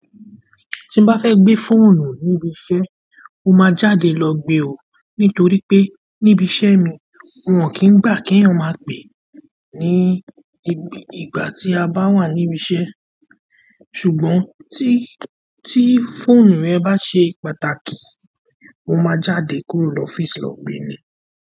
Tí n bá fẹ́ gbé fóònù níbi iṣẹ́, mo máa jáde lọ gbé o. Nítorí pé níbi iṣẹ́ mi wọn kì í gbà kí èèyàn máa pẹ̀ ní ìgbà tí a bá wà níbi iṣẹ́. Ṣùgbọ́n ti ti fóònù mi ba se pàtàkì mo ma jáde kúrò lofisi lo gbe ni.